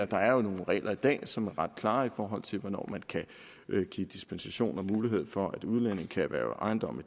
der er jo nogle regler i dag som er ret klare i forhold til hvornår man kan give dispensation og mulighed for at udlændinge kan erhverve ejendomme